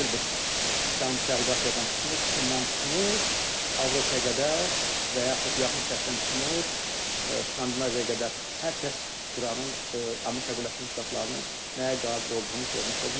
Bura daxildir Cənub-Şərqi Asiyadan tutmuş, Çindən tutmuş, Avropaya qədər və yaxud Yaxın Şərqdən tutmuş, Skandinaviyaya qədər hər kəs İranın, Amerika Birləşmiş Ştatlarının nəyə qadir olduğunu görmüş oldu.